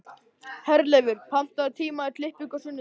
Herleifur, pantaðu tíma í klippingu á sunnudaginn.